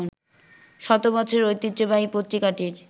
শতবছরের ঐতিহ্যবাহী পত্রিকাটির